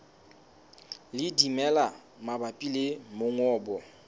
le dimela mabapi le mongobo